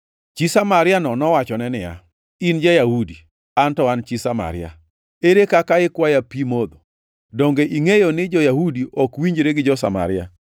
Chi Samaria-no nowachone niya, “In ja-Yahudi, an to an chi Samaria. Ere kaka ikwaya pi modho?” (Donge ingʼeyo ni jo-Yahudi ok winjre gi jo-Samaria.)